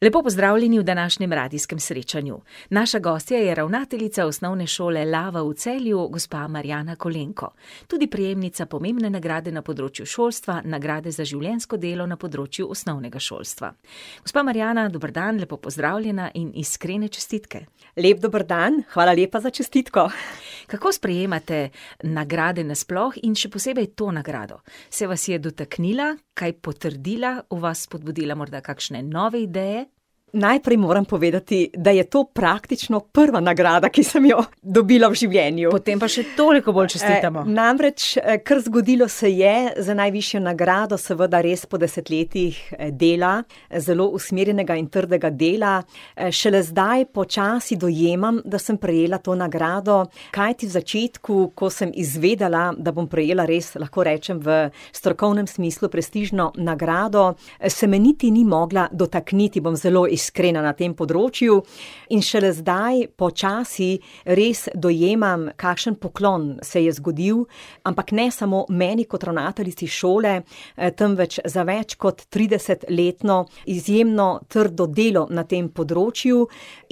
Lepo pozdravljeni v današnjem radijskem srečanju. Naša gostja je ravnateljica Osnovne šole Lava v Celju, gospa Marijana Kolenko, tudi prejemnica pomembne nagrade na področju šolstva, nagrade za življensko delo na področju osnovnega šolstva. Gospa Marijana, dober dan, lepo pozdravljena in iskrene čestitke. Lep dober dan, hvala lepa za čestitko. Kako sprejemate nagrade nasploh in še posebej to nagrado? Se vas je dotaknila, kaj potrdila, v vas spodbudila morda kakšne nove ideje? Najprej moram povedati, da je to praktično prva nagrada, ki sem jo dobila v življenju. Potem pa še toliko bolj čestitamo. Namreč, kar zgodilo se je, za najvišjo nagrado seveda res po desetletjih, dela, zelo usmerjenega in trdega dela, šele zdaj počasi dojemam, da sem prejela to nagrado. Kajti v začetku, ko sem izvedela, da bom prejela, res lahko rečem v strokovnem smislu prestižno nagrado, se me niti ni mogla dotakniti, bom zelo iskrena na tem področju, in šele zdaj počasi res dojemam, kakšen poklon se je zgodil, ampak ne samo meni kot ravnateljici šole, temveč za več kot tridesetletno izjemno trdo delo na tem področju,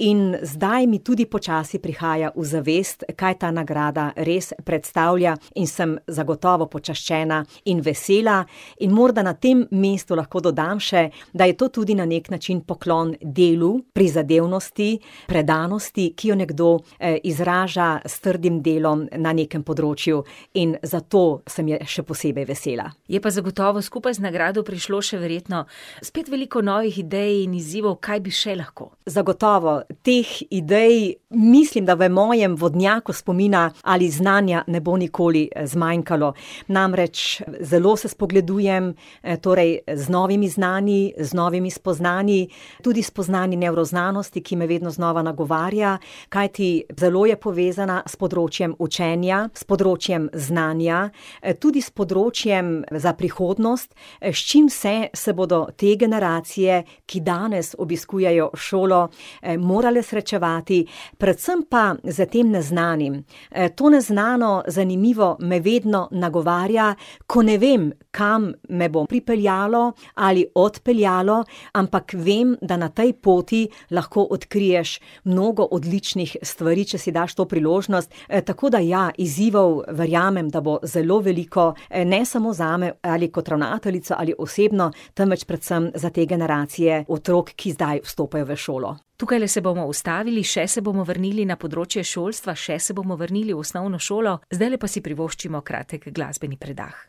in zdaj mi tudi počasi prihaja v zavest, kaj ta nagrada res predstavlja, in sem zagotovo počaščena in vesela. In morda na tem mestu lahko dodam še, da je to tudi na neki način poklon delu, prizadevnosti, predanosti, ki jo nekdo, izraža s trdim delom na nekem področju. In zato samo je še posebej vesela. Je pa zagotovo skupaj z nagrado prišlo še verjetno spet veliko novih idej in izzivov, kaj bi še lahko. Zagotovo. Teh idej mislim, da v mojem vodnjaku spomina ali znanja ne bo nikoli, zmanjkalo. Namreč, zelo se spogledujem, torej z novimi znanji, z novimi spoznanji, tudi s spoznanji nevroznanosti, ki me vedno znova nagovarja. Kajti zelo je povezana s področjem učenja, s področjem znanja, tudi s področjem za prihodnost, s čim vse se bodo te generacije, ki danes obiskujejo šolo, morale srečevati, predvsem pa s tem neznanim. to neznano, zanimivo me vedno nagovarja, ko ne vem, kam me bo pripeljalo ali odpeljalo, ampak vem, da na tej poti lahko odkriješ mnogo odličnih stvari, če si daš to priložnost. tako da ja, izzivov, verjamem, da bo zelo veliko, ne samo zame ali kot ravnateljico ali osebno, temveč predvsem za te generacije otrok, ki zdaj vstopajo v šolo. Tukajle se bomo ustavili, še se bomo vrnili na področje šolstva, še se bomo vrnili v osnovno šolo, zdajle pa si privoščimo kratek glasbeni predah.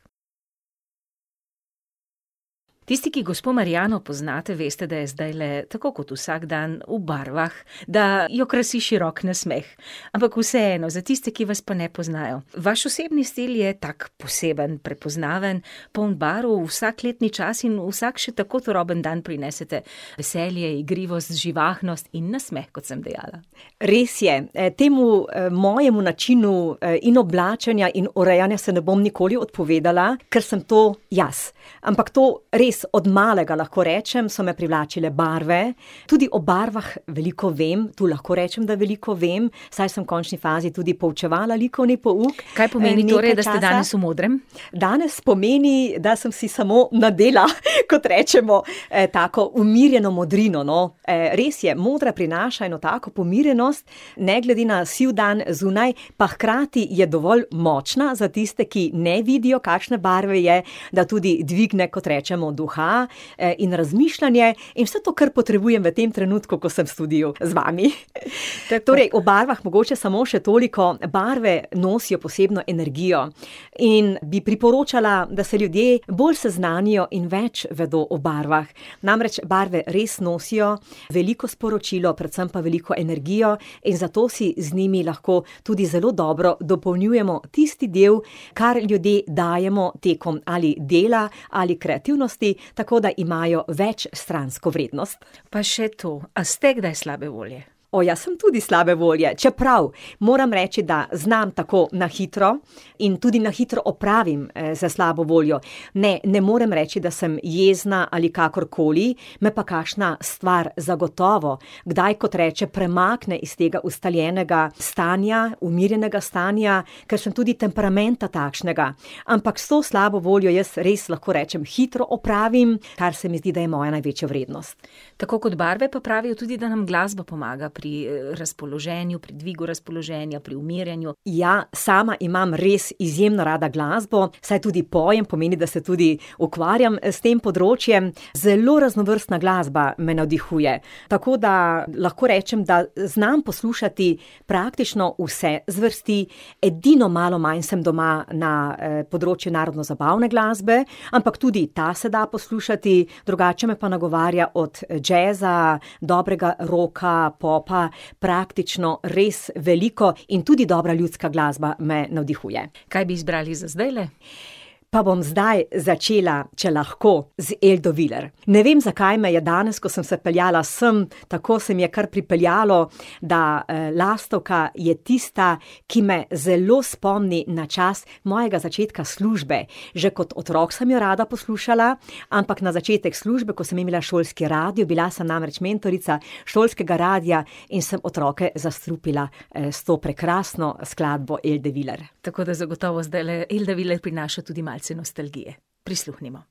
Tisti, ki gospo Marijano poznate, veste, da je zdajle tako kot vsak dan v barvah, da jo krasi širok nasmeh. Ampak vseeno, za tiste, ki vas pa ne poznajo, vaš osebni stil je tako poseben, prepoznaven, poln barv, v vsak letni čas in vsak še tako turoben dan prinesete veselje, igrivost, živahnost in nasmeh, kot sem dejala. Res je. temu, mojemu načinu, in oblačenja in urejanja, se ne bom nikoli odpovedala, kar sem to jaz. Ampak to res od malega, lahko rečem, so me privlačile barve, tudi o barvah veliko vem, tu lahko rečem, da veliko vem, saj sem v končni fazi tudi poučevala likovni pouk. Kaj pomeni torej, da ste danes v modrem? nekaj časa. Danes pomeni, da sem si samo nadela, kot rečemo, tako umirjeno modrino, no. res je, modra prinaša eno tako pomirjenost, ne glede na siv dan zunaj, pa hkrati je dovolj močna za tiste, ki ne vidijo, kakšne barve je, da tudi dvigne, kot rečemo, duha, in razmišljanje in vse to, kar potrebujem v tem trenutku, ko sem v studiu z vami. torej o barvah mogoče samo še toliko, barve nosijo posebno energijo. In bi priporočala, da se ljudje bolj seznanijo in več vedo o barvah. Namreč barve res nosijo veliko sporočilo, predvsem pa veliko energijo in zato si z njimi lahko tudi zelo dobro dopolnjujemo tisti del, kar ljudje dajemo tekom ali dela ali kreativnosti, tako da imajo večstransko vrednost. Pa še to, a ste kdaj slabe volje? ja, sem tudi slabe volje, čeprav, moram reči, da znam tako na hitro in tudi na hitro opravim, z slabo voljo. Ne, ne morem reči, da sem jezna ali kakorkoli, me pa kakšna stvar zagotovo kdaj, kot reče, premakne iz tega ustaljenega stanja, umirjenega stanja, ker sem tudi temperamenta takšnega. Ampak s to slabo voljo, jaz res lahko rečem, hitro opravim, kar se mi zdi, da je moja največja vrednost. Tako kot barve, pa pravijo, da nam tudi glasba pomaga pri, razpoloženju, pri dvigu razpoloženja, pri umiranju. Ja, sama imam res izredno rada glasbo, saj tudi pojem, pomeni, da se tudi ukvarjam, s tem področjem, zelo raznovrstna glasba me navdihuje. Tako da lahko rečem, da znam poslušati praktično vse zvrsti, edino malo manj sem doma na, področju narodnozabavne glasbe, ampak tudi ta se da poslušati, drugače me pa nagovarja od džeza, dobrega rocka, popa, praktično res veliko. In tudi dobra ljudska glasba me navdihuje. Kaj bi izbrali za zdajle? Pa bom zdaj začela, če lahko, z Eldo Viler. Ne vem, zakaj me je danes, ko sem se peljala sem, tako se mi je kar pripeljalo, da, lastovka je tista, ki me zelo spomni na čas mojega začetka službe. Že kot otrok sem jo rada poslušala, ampak na začetku službe, ko sem imela šolski radio, bila sem namreč mentorica šolskega radia, in sem otroke zastrupila, s to prekrasno skladbo Elde Viler. Tako da zagotovo zdajle Elda Viler prinaša tudi malce nostalgije. Prisluhnimo.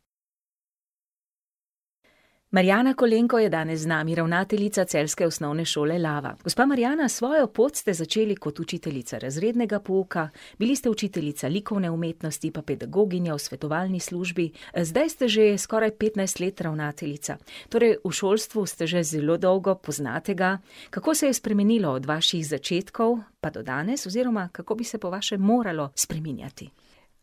Marijana Kolenko je danes z nami, ravnateljica celjske osnovne šole Lava. Gospa Marijana, svojo pot ste začeli kot učiteljica razrednega pouka, bili ste učiteljica likovne umetnosti pa pedagoginja v svetovalni službi. zdaj ste že skoraj petnajst let ravnateljica. Torej, v šolstvu ste že zelo dolgo, poznate ga. Kako se je spremenilo od vaših začetkov pa do danes oziroma kako bi se po vašem moralo spreminjati?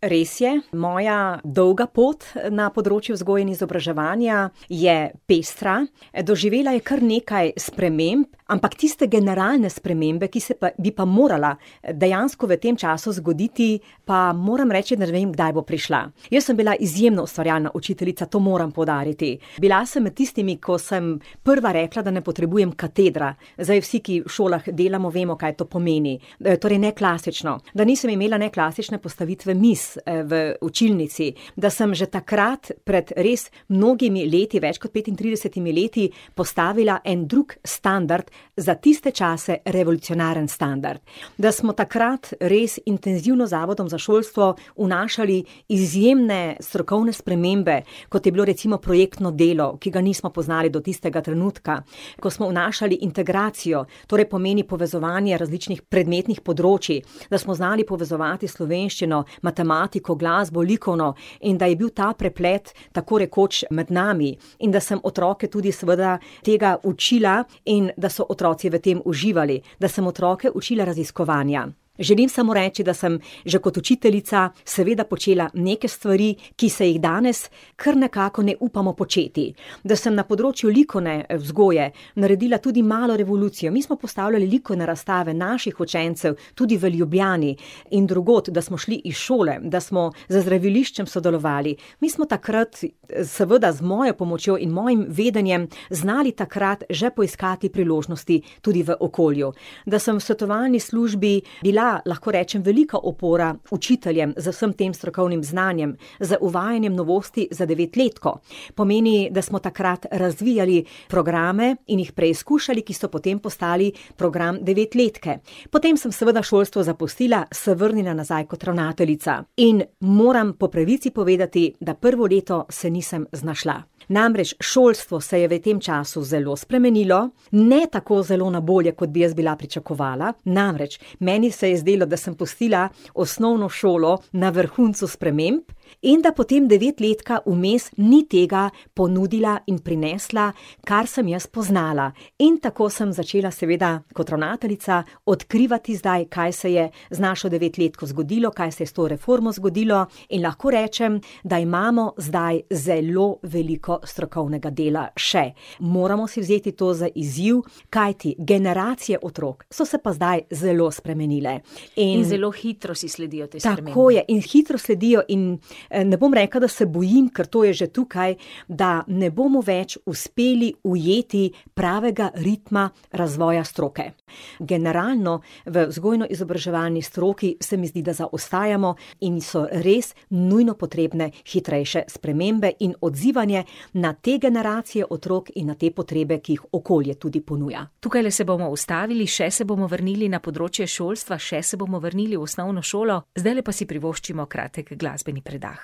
Res je, moja dolga pot na področju vzgoje in izobraževanja je pestra. doživela je kar nekaj sprememb, ampak tiste generalne spremembe, ki se pa, bi pa morala, dejansko v tem času zgoditi, pa moram reči, da ne vem, kdaj bo prišla. Jaz sem bila izjemno ustvarjalna učiteljica, to moram poudariti. Bila sem med tistimi, ko sem prva rekla, da ne potrebujem katedra. Zdaj vsi, ki v šolah delamo, vemo, kaj to pomeni. torej neklasično. Da nisem imela ne klasične postavitve mizi, v učilnici. Da sem že takrat pred res mnogimi leti, več kot petintridesetimi leti, postavila en drug standard, za tiste čase revolucionaren standard. Da smo takrat res intenzivno z Zavodom za šolstvo vnašali izjemne strokovne spremembe, kot je bilo recimo projektno delo, ki ga nismo poznali do tistega trenutka, ko smo vnašali integracijo, torej pomeni povezovanje različnih predmetnih področij. Da smo znali povezovati slovenščino, matematiko, glasbo, likovno in da je bil ta preplet tako rekoč med nami. In da sem otroke tudi seveda tega učila in da so otroci v tem uživali. Da sem otroke učila raziskovanja. Želim samo reči, da sem že kot učiteljica seveda počela neke stvari, ki se jih danes kar nekako ne upamo početi. Da sem na področju likovne, vzgoje naredila tudi malo revolucijo, mi smo postavljali likovne razstave naših učencev tudi v Ljubljani in drugod, da smo šli iz šole, da smo z zdraviliščem sodelovali. Mi smo takrat, seveda z mojo pomočjo in mojim vedenjem, znali takrat že poiskati priložnosti tudi v okolju. Da sem v svetovalni službi bila, lahko rečem, velika opora učiteljem, z vsem tem strokovnim znanjem, z uvajanjem novosti za devetletko. Pomeni, da smo takrat razvijali programe in jih preizkušali, ki so potem postali program devetletke. Potem sem seveda šolstvo zapustila, se vrnila nazaj kot ravnateljica. In moram po pravici povedati, da prvo leto se nisem znašla. Namreč šolstvo se je v tem času zelo spremenilo, ne tako zelo na bolje, kot bi jaz bila pričakovala, namreč meni se je zdelo, da sem pustila osnovno šolo na vrhuncu sprememb in da potem devetletka vmes ni tega ponudila in prinesla, kar sem jaz poznala. In tako sem začela seveda kot ravnateljica odkrivati zdaj, kaj se je z našo devetletko zgodilo, kaj se je s to reformo zgodilo, in lahko rečem, da imamo zdaj zelo veliko strokovnega dela še. Moramo si vzeti to za izziv, kajti generacije otrok so se pa zdaj zelo spremenile. In ... In zelo hitro si sledijo Tako je. te spremembe. In hitro sledijo in, ne bom rekla, da se bojim, ker to je že tukaj, da ne bomo več uspeli ujeti pravega ritma razvoja stroke. Generalno v vzgojno-izobraževalni stroki se mi zdi, da zaostajamo in so res nujno potrebne hitrejše spremembe in odzivanje na te generacije otrok in na te potrebe, ki jih okolje tudi ponuja. Tukajle se bomo ustavili, še se bomo vrnili na področje šolstva, še se bomo vrnili v osnovno šolo, zdajle pa si privoščimo kratek glasbeni predah.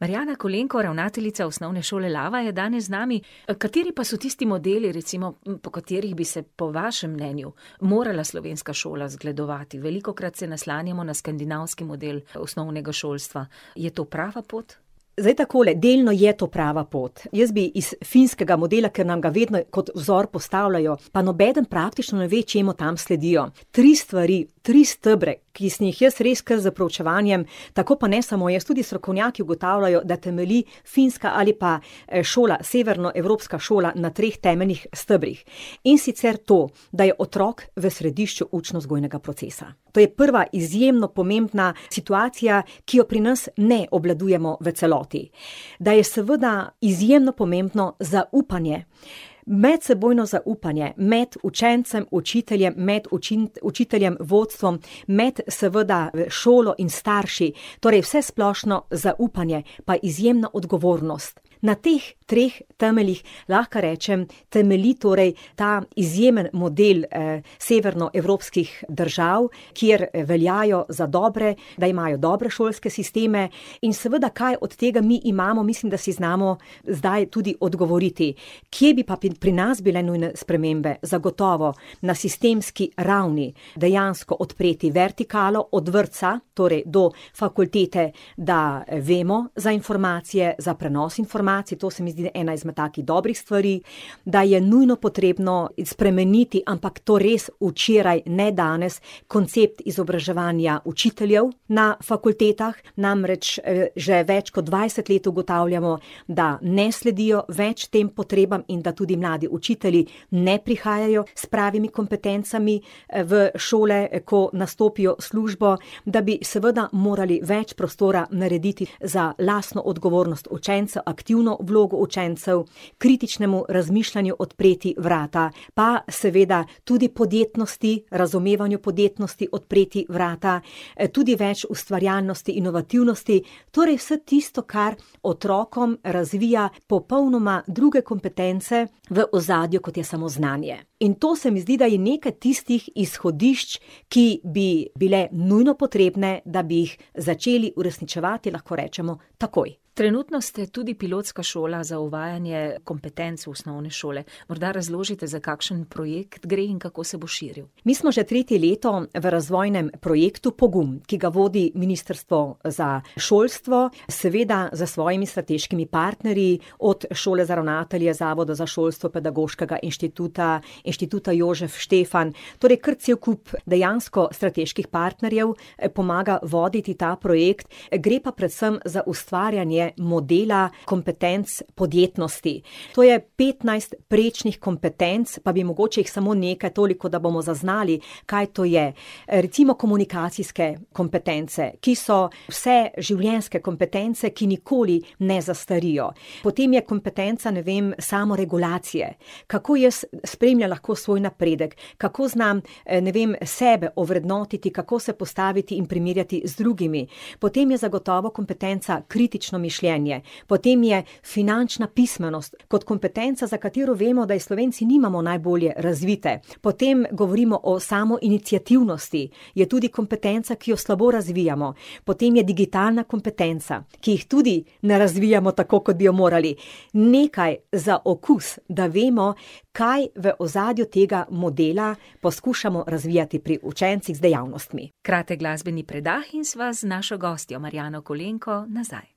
Marijana Kolenko, ravnateljica Osnovne šole Lava je danes z nami. kateri pa so tisti modeli recimo, po katerih bi se po vašem mnenju morala slovenska šola zgledovati? Velikokrat se naslanjamo na skandinavski model osnovnega šolstva. Je to prava pot? Zdaj takole, delno je to prava pot. Jaz bi iz finskega modela, ker nam ga vedno kot vzor postavljajo, pa nobeden praktično ne ve, čemu tam sledijo, tri stvari, tri stebre, ki sem jih jaz res kar s proučevanjem ... Tako pa ne samo jaz, tudi strokovnjaki ugotavljajo, da temelji finska ali pa, šola, severnoevropska šola na treh temeljnih stebrih. In sicer to, da je otrok v središču učno-vzgojnega procesa. To je prva izjemno pomembna situacija, ki jo pri nas ne obvladujemo v celoti. Da je seveda izjemno pomembno zaupanje. Medsebojno zaupanje med učencem, učiteljem, med učiteljem, vodstvom, med seveda šolo in starši. Torej vsesplošno zaupanje pa izjemna odgovornost. Na teh treh temeljih lahko rečem, temelji torej ta izjemen model, severnoevropskih držav, kjer veljajo za dobre, da imajo dobre šolske sisteme, in seveda, kaj od tega mi imamo, mislim, da si znamo zdaj tudi odgovoriti. Kje bi pa bi pri nas bile nujne spremembe? Zagotovo na sistemski ravni, dejansko odpreti vertikalo od vrtca, torej do fakultete, da vemo za informacije, za prenos informacij, to se mi zdi ena izmed takih dobrih stvari, da je nujno potrebno spremeniti, ampak to res včeraj, ne danes, koncept izobraževanja učiteljev na fakultetah, namreč, že več kot dvajset let ugotavljamo, da ne sledijo več tem potrebam in da tudi mladi učitelji ne prihajajo s pravimi kompetencami, v šole, ko nastopijo službo, da bi seveda morali več prostora narediti za lastno odgovornost učenca, aktivno vlogo učencev, kritičnemu razmišljanju odpreti vrata pa seveda tudi podjetnosti, razumevanju podjetnosti odpreti vrata, tudi več ustvarjalnosti, inovativnosti. Torej vse tisto, kar otrokom razvija popolnoma druge kompetence v ozadju, kot je samo znanje. In to se mi zdi, da je nekaj tistih izhodišč, ki bi bila nujno potrebna, da bi jih začeli uresničevati, lahko rečemo, takoj. Trenutno ste tudi pilotska šola za uvajanje kompetenc v osnovne šole. Morda razložite, za kakšen projekt gre in kako se bo širil. Mi smo že tretje leto v razvojnem projektu Pogum, ki ga vodi Ministrstvo za šolstvo, seveda s svojimi strateškimi partnerji, od Šole za ravnatelje, Zavoda za šolstvo, Pedagoškega inštituta, Inštituta Jožef Stefan, torej kar cel kup dejansko strateških partnerjev, pomaga voditi ta projekt. gre pa predvsem za ustvarjanje modela kompetenc podjetnosti. To je petnajst prečnih kompetenc, pa bi mogoče jih samo nekaj, toliko, da bomo zaznali, kaj to je. recimo komunikacijske kompetence, ki so vseživljenjske kompetence, ki nikoli ne zastarijo. Potem je kompetenca, ne vem, samoregulacije. Kako jaz spremljam lahko svoj napredek, kako znam, ne vem, sebe ovrednotiti, kako se postaviti in primerjati z drugimi. Potem je zagotovo kompetenca kritično mišljenje. Potem je finančna pismenost kot kompetenca, za katero vemo, da je Slovenci nimamo najbolje razvite. Potem govorimo o samoiniciativnosti, je tudi kompetenca, ki jo slabo razvijamo. Potem je digitalna kompetenca, ki jih tudi ne razvijamo tako, kot bi jo morali. Nekaj za okus, da vemo, kaj v ozadju tega modela poskušamo razvijati pri učencih z dejavnostmi. Kratek glasbeni predah in sva z našo gostjo, Marijano Kolenko, nazaj.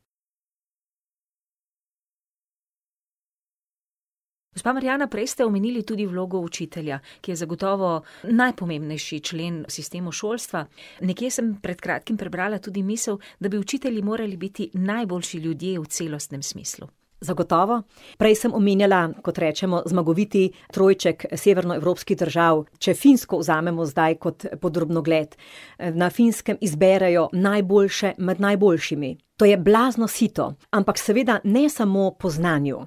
Gospa Marijana, prej ste omenili tudi vlogo učitelja, ki je zagotovo najpomembnejši člen v sistemu šolstva. Nekje sem pred kratkim prebrala tudi misli, da bi učitelji morali biti najboljši ljudje v celostnem smislu. Zagotovo. Prej sem omenjala, kot rečemo, zmagoviti trojček severnoevropskih držav. Če Finsko vzamemo zdaj kot pod drobnogled. na Finskem izberejo najboljše med najboljšimi. To je blazno sito, ampak seveda ne samo po znanju.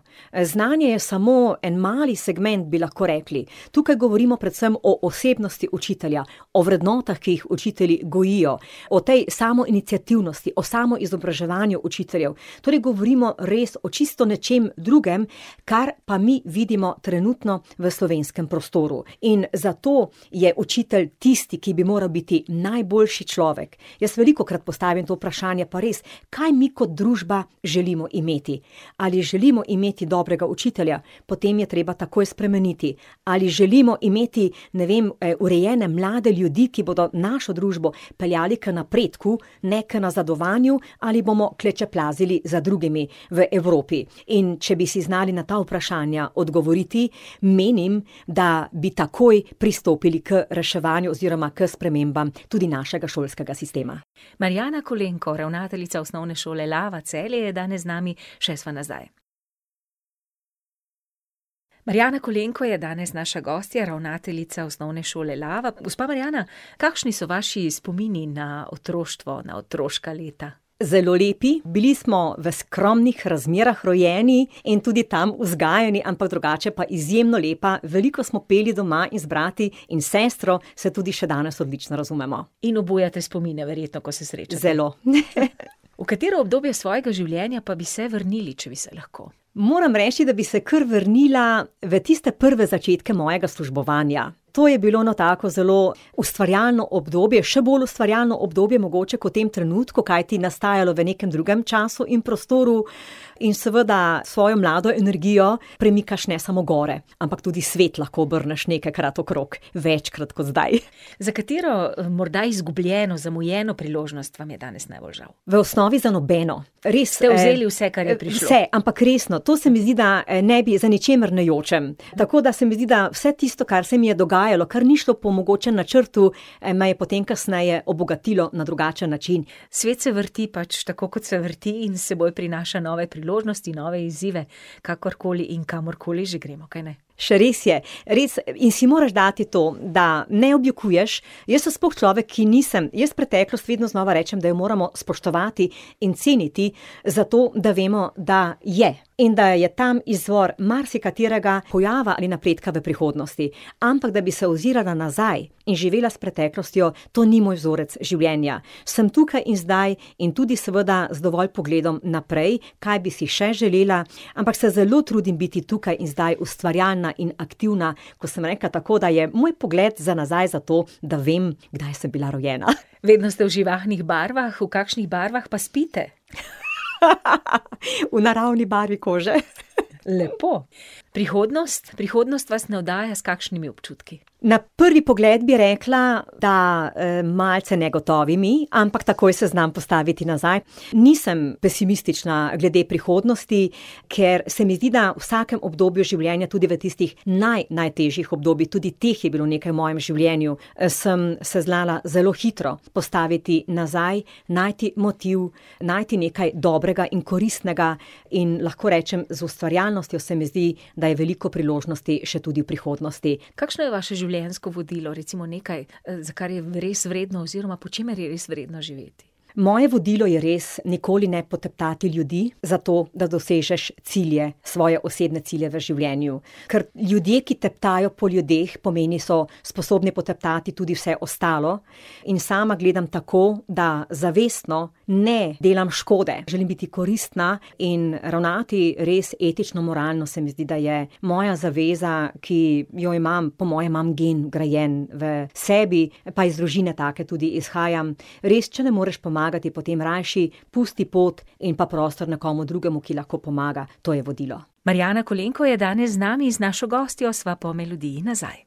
znanje je samo en mali segment, bi lahko rekli. Tukaj govorimo predvsem o osebnosti učitelja. O vrednotah, ki jih učitelji gojijo. O tej samoiniciativnosti, o samoizobraževanju učiteljev. Torej govorimo res o čisto nečem drugem, kar pa mi vidimo trenutno v slovenskem prostoru. In zato je učitelj tisti, ki bi moral biti najboljši človek. Jaz velikokrat postavim to vprašanje, pa res, kaj mi kot družba želimo imeti? Ali želimo imeti dobrega učitelja? Potem je treba takoj spremeniti. Ali želimo imeti ne vem, urejene mlade ljudi, ki bodo našo družbo peljali k napredku, ne k nazadovanju ali bomo klečeplazili za drugimi v Evropi? In če bi si znali na ta vprašanja odgovoriti, menim, da bi takoj pristopili k reševanju oziroma k spremembam tudi našega šolskega sistema. Marijana Kolenko, ravnateljica Osnovne šole Lava Celje je danes z nami, še sva nazaj. Marijana Kolenko je danes naša gostja, ravnateljica Osnovne šole Lava. Gospa Marijana, kakšni so vaši spomini na otroštvo, na otroška leta? Zelo lepi. Bili smo v skromnih razmerah rojeni in tudi tam vzgajani, ampak drugače pa izjemno lepa, veliko smo peli doma in z brati in s sestro se tudi še danes odlično razumemo. In obujate spomine verjetno, ko se srečate. Zelo . V katero obdobje svojega življenja pa bi se vrnili, če bi se lahko? Moram reči, da bi se kar vrnila v tiste prve začetku mojega službovanja. To je bilo eno tako zelo ustvarjalno obdobje, še bolj ustvarjalno obdobje mogoče kot v tem trenutku, kajti nastajalo v nekam drugem času in prostoru in seveda s svojo mlado energijo premikaš ne samo gore, ampak tudi svet lahko obrneš nekajkrat okrog, večkrat kot zdaj. Za katero, morda izgubljeno, zamujeno priložnost vam je danes najbolj žal? V osnovi za nobeno. Res ste vzeli vse, kar je prišlo. Vse. Ampak resno, to se mi zdi da, ne bi, za ničimer ne jočem. Tako da se mi zdi, da vse tisto, kar se mi je dogajalo, kar ni šlo po mogoče načrtu, me je potem kasneje obogatilo na drugačen način. Svet se vrti pač tako, kot se vrti, in s seboj prinaša nove priložnosti, nove izzive, kakorkoli in kamorkoli že gremo, kajne? Še res je. Res, in si moraš dati to, da ne objokuješ. Jaz sem sploh človek, ki nisem ... Jaz preteklost vedno znova rečem, da jo moramo spoštovati in ceniti zato, da vemo, da je in da je tam izvor marsikaterega pojava ali napredka v prihodnosti. Ampak da bi se ozirala nazaj in živela s preteklostjo, to ni moj vzorec življenja. Samo tukaj in zdaj in tudi seveda z dovolj pogledom naprej Kaj bi si še želela, ampak se zelo trudim biti tukaj in zdaj, ustvarjalna in aktivna. Ko sem rekla tako, da je moj pogled za nazaj zato, da vem, kdaj sem bila rojena. Vedno ste v živahnih barvah, v kakšnih barvah pa spite? V naravni barvi kože. Lepo. Prihodnost, prihodnost vas navdaja s kakšnimi občutki? Na prvi pogled bi rekla, da, malce negotovimi, ampak takoj se znam postaviti nazaj. Nisem pesimistična glede prihodnosti, ker se mi zdi, da v vsakem obdobju življenja, tudi v tistih najnajtežjih obdobjih, tudi teh je bilo nekaj v mojem življenju, sem se znala zelo hitro postaviti nazaj, najti motiv, najti nekaj dobrega in koristnega in lahko rečem, z ustvarjalnostjo se mi zdi, da je veliko priložnosti še tudi v prihodnosti. Kakšno je vaše življenjsko vodilo, recimo nekaj, za kar je res vredno oziroma po čemer je res vredno živeti? Moje vodilo je res nikoli ne poteptati ljudi zato, da dosežeš cilje, svoje osebne cilje v življenju. Kar ljudje, ki teptajo po ljudeh, pomeni, so sposobni poteptati tudi vse ostalo, in sama gledam tako, da zavestno ne delam škode, želim biti koristna in ravnati res etično, moralno, se mi zdi, da je moja zaveza, ki jo imam, po mojem imam gen vgrajen v sebi pa iz družine take tudi izhajam. Res, če ne moreš pomagati, potem rajši pusti pot in pa prostor nekomu drugemu, ki lahko pomaga. To je vodilo. Marijana Kolenko je danes z nami, z našo gostjo sva po melodiji nazaj.